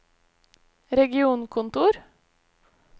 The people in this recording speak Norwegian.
regionkontor